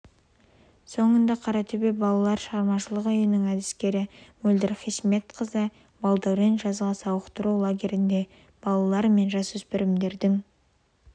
сонында қаратөбе балалар шығармашылығы үйінің әдіскері мөлдір хисметқызы утебашева балдәурен жазғы сауықтыру лагерінде балалар мен жасөспірімдердің